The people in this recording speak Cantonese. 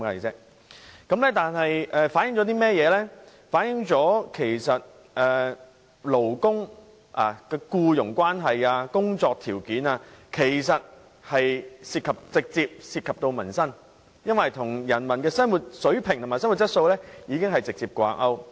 這反映僱傭關係及工作條件直接涉及民生，與人民的生活水平和質素直接掛鈎。